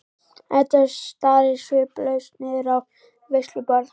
Edda starir sviplaus niður á veisluborð.